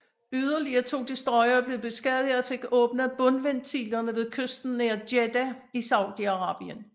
Yderligere to destroyere blev beskadiget og fik åbnet bundventilerne ved kysten nær Jeddah i Saudiarabien